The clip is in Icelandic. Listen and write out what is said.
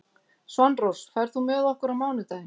Svanrós, ferð þú með okkur á mánudaginn?